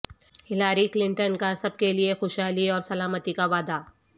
Hillary Clinton کا سب کے لئے خوشحالی اور سلامتی کا وعدہ